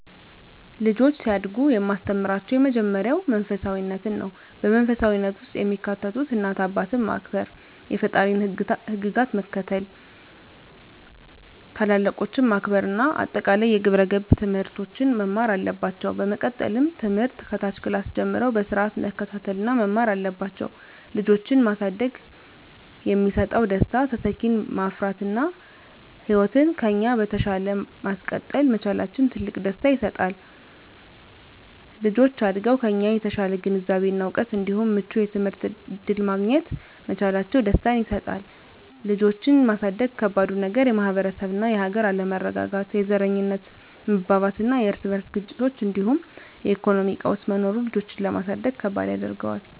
ልጆች ሲያድጉ የማስተምራቸው የመጀመሪያው መንፈሳፊነትን ነው። በመንፈሳዊነት ውስጥ የሚካተቱት እናት አባትን ማክበር፣ የፈጣሪን ህግጋት መከተል፣ ታላላቆችን ማክበር እና አጠቃላይ የግብረ ገብ ትምህርቶችን መማር አለባቸው። በመቀጠልም ትምህርት ከታች ክላስ ጀምረው በስርአት መከታተል እና መማር አለባቸው። ልጆችን ማሳደግ የሚሰጠው ደስታ:- - ተተኪን ማፍራት እና ህይወትን ከኛ በተሻለ ማስቀጠል መቻላችን ትልቅ ደስታ ይሰጣል። - ልጆች አድገው ከኛ የተሻለ ግንዛቤ እና እውቀት እንዲሁም ምቹ የትምህርት እድል ማግኘት መቻላቸው ደስታን ይሰጠናል። ልጆችን ማሳደግ ከባዱ ነገር:- - የማህበረሰብ እና የሀገር አለመረጋጋት፣ የዘረኝነት መባባስና የርስ በርስ ግጭቶች እንዲሁም የኢኮኖሚ ቀውስ መኖሩ ልጆችን ለማሳደግ ከባድ ያደርገዋል።